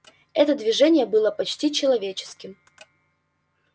это движение было почти человеческим